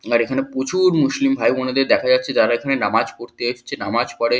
আর এখানে প্রচুর মুসলিম ভাই-বোনেদের দেখা যাচ্ছে যারা এখানে নামাজ পড়তে এসছে নামাজ পড়ে।